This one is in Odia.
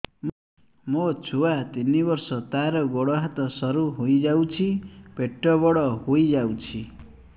ମୋ ଛୁଆ ତିନି ବର୍ଷ ତାର ଗୋଡ ହାତ ସରୁ ହୋଇଯାଉଛି ପେଟ ବଡ ହୋଇ ଯାଉଛି